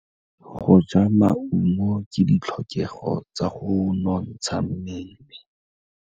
Go ja maungo ke ditlhokegô tsa go nontsha mmele.